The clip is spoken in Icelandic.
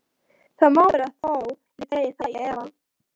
Það má vera þó ég dragi það í efa.